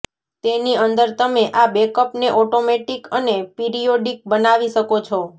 તેની અંદર તમે આ બેકઅપ ને ઓટોમેટિક અને પિરીયોડીક બનાવી શકો છો